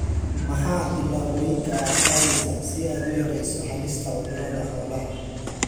Maxaa tillaabooyinka aad qaadaysaa si aad u yarayso halista cudurrada xoolaha?